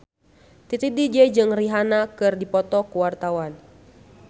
Titi DJ jeung Rihanna keur dipoto ku wartawan